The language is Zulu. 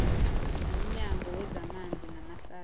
nomnyango wezamanzi namahlathi